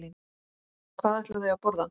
Hvað ætla þau að borða?